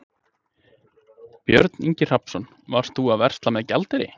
Björn Ingi Hrafnsson: Varst þú að versla með gjaldeyri?